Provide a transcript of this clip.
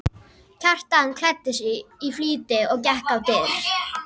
Kjartan klæddi sig í flýti og gekk á dyr.